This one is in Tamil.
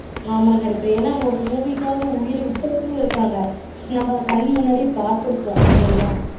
ஆமா ஹரிப்ரியா ஒரு movie க்காஹ உயிர விட்டவங்களும் இருக்குறாங்க அத நம்ம கண்ணுக்கு முன்னாடி பார்த்துருக்கொம் இல்லீங்களா